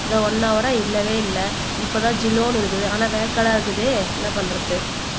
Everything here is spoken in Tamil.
இந்தா ஒன்னு ஹௌரா இல்லவே இல்லை இப்பதான் ஜிலோன்னு இருக்குது ஆனா வேக்காடா இருக்குது என்ன பண்றது